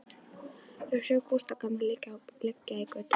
Þau sjá Gústa gamla liggja í götunni.